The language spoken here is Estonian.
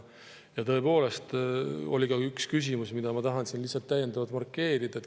Tõepoolest oli ka üks küsimus, mida ma tahan siin lihtsalt täiendavalt markeerida.